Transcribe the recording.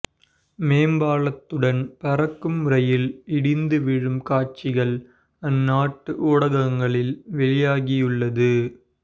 மேம்பாலத்துடன் பறக்கும் ரயில் இடிந்து விழும் காட்சிகள் அந்நாட்டு ஊடகங்களில் வெளியாகியுள்ளது